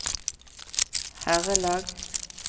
herrelag